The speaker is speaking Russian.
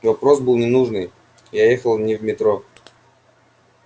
вопрос был ненужный я ехал не в метро